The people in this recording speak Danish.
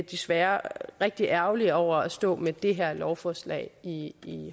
desværre rigtig ærgerlige over at stå med det her lovforslag i